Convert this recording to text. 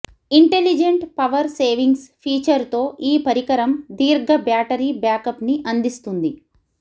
intelligent power savings feature తో ఈ పరికరం దీర్ఘ బ్యాటరీ బ్యాకప్ ని అందిస్తుంది